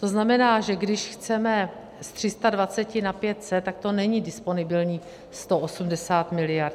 To znamená, že když chceme z 320 na 500, tak to není disponibilních 180 miliard.